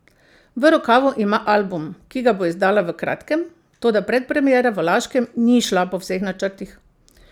V rokavu ima album, ki ga bo izdala v kratkem, toda predpremiera v Laškem ni šla po vseh načrtih.